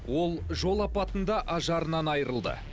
ол жол апатында ажарынан айрылды